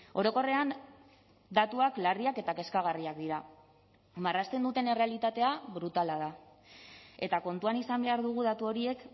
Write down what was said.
orokorrean datuak larriak eta kezkagarriak dira marrazten duten errealitatea brutala da eta kontuan izan behar dugu datu horiek